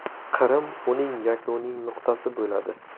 Qrim uning yakuniy nuqtasi bo‘ladi.